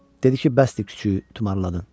Dedi ki, bəsdir küçüyü tumarladın.